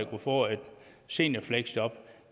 kunne få et seniorfleksjob